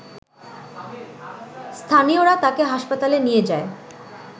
স্থানীয়রা তাকে হাসপাতালে নিয়ে যায়